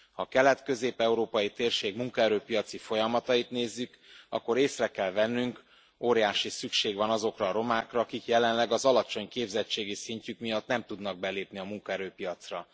Ha a kelet közép európai térség munkaerőpiaci folyamatait nézzük, akkor észre kell vennünk óriási szükség van azokra a romákra, akik jelenleg az alacsony képzettségi szintjük miatt nem tudnak belépni a munkaerőpiacra.